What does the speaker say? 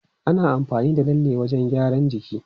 Ana amfani da lalle wajen gyaran jiki.